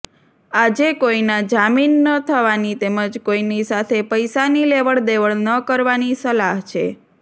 આજે કોઈના જામીન ન થવાની તેમજ કોઈની સાથે પૈસાની લેવડદેવડ ન કરવાની સલાહ છે